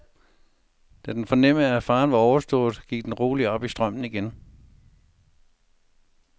Da den fornemmede, at faren var overstået, gik den roligt op i strømmen igen.